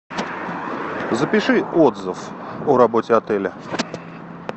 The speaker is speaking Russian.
запиши отзыв о работе отеля